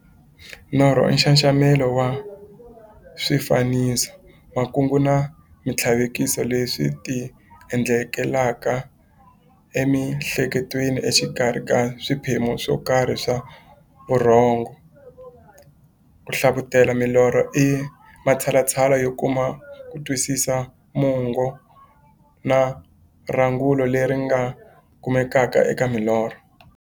Norho i nxaxamelo wa swifaniso, makungu na minthlaveko leswi ti endlekelaka e mi'hleketweni exikarhi ka swiphemu swokarhi swa vurhongo. Ku hlavutela milorho i matshalatshala yo kuma kutwisisa mungo na rungula leri nga kumekaka eka milorho.